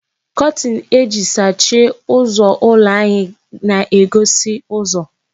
Kọtin eji sachie ụzọ ụlọ anyị na-egosi ụzọ.